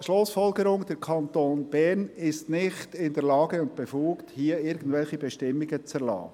Schlussfolgerung: Der Kanton Bern ist nicht in der Lage und befugt, hier irgendwelche Bestimmungen zu erlassen.